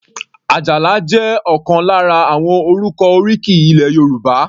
Ajala jẹ́ ọ̀kan lára àwọn orúkọ oríkì ilẹ̀ Yorùbá.